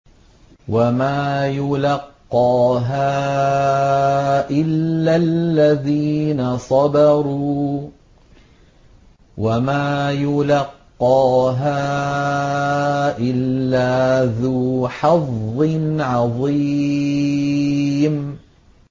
وَمَا يُلَقَّاهَا إِلَّا الَّذِينَ صَبَرُوا وَمَا يُلَقَّاهَا إِلَّا ذُو حَظٍّ عَظِيمٍ